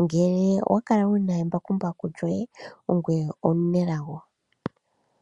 Ngele owa kala wu na embakumbaku lyoye ongoye omunelago.